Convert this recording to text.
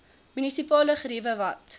munisipale geriewe wat